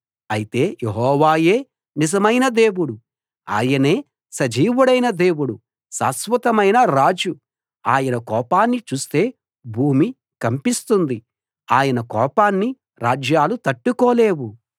అయితే యెహోవాయే నిజమైన దేవుడు ఆయనే సజీవుడైన దేవుడు శాశ్వతమైన రాజు ఆయన కోపాన్ని చూస్తే భూమి కంపిస్తుంది ఆయన కోపాన్ని రాజ్యాలు తట్టుకోలేవు